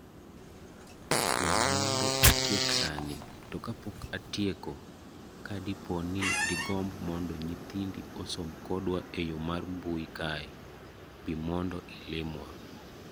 We mondo atiek sani, to kapok atieko, kadipo ni digomb mondo nyithindi osom kodwa eyoo mar mbui kae,,bi mondo ilimwa.